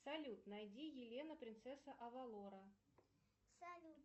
салют найди елена принцесса авалора